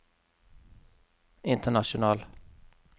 international